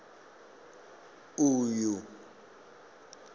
uyu